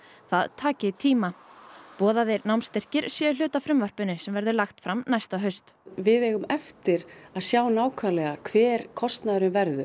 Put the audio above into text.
það taki tíma boðaðir námsstyrkir séu hluti af frumvarpinu sem verður lagt fram næsta haust við eigum eftir að sjá nákvæmlega hver kostnaðurinn verður